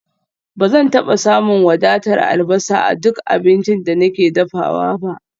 Ba zan taba samun wadatar albasa a duk abincin da nake dafawa ba